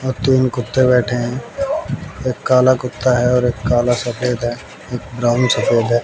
अ तीन कुत्ते बैठे हैं एक काला कुत्ता है और एक काला सफेद है एक ब्राउन सफेद है।